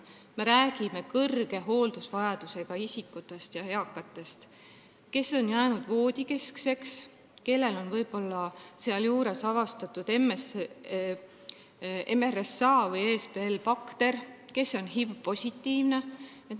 Me räägime kõrge hooldusvajadusega isikutest, eakatest inimestest, kes on jäänud voodisse, kellel on võib-olla avastatud MRSA- või ESBL-bakter või kes võib olla HIV-positiivne.